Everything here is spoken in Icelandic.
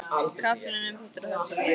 Kaflinn um þetta er á þessa leið